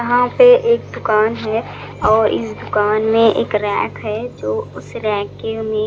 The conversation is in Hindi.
यहाँ पे एक दूकान है और इस दूकान में एक रैक है जो उस रैक के में--